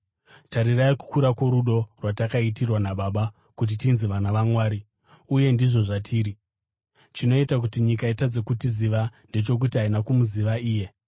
Tarirai kukura kworudo rwatakaitirwa naBaba, kuti tinzi vana vaMwari! Uye ndizvo zvatiri! Chinoita kuti nyika itadze kutiziva ndechokuti haina kumuziva iye.